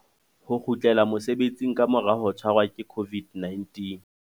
Ho kgutlela mosebetsing ka mora ho tshwarwa ke COVID-19.